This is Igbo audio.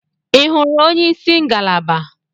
Ị hụrụ onyeisi ngalaba.?